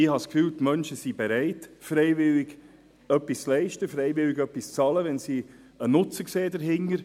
Ich habe den Eindruck, dass die Menschen bereit sind, freiwillig etwas zu leisten und etwas zu bezahlen, wenn sie einen Nutzen dahinter sehen.